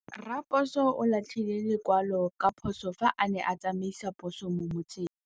Raposo o latlhie lekwalô ka phosô fa a ne a tsamaisa poso mo motseng.